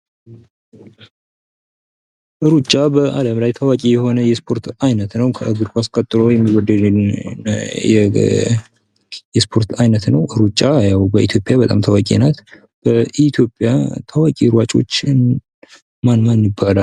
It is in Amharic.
ሩጫ በአለም ላይ ታዋቂ የሆነ የስፖርት አይነት ነው ከእግር ኳስ ቀጥሎ የሚወደድ ስፖርት አይነት ነው ሩጫ ያው በኢትዮጵያ በጣም ታዋቂ ናት ኢትዮጵያ ታዋቂ ሯጮችን ማን ማን ይባላል?